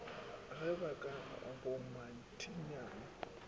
ge ba ka ba bommathinyane